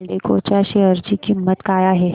एल्डेको च्या शेअर ची किंमत काय आहे